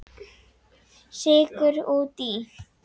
Sykur út í.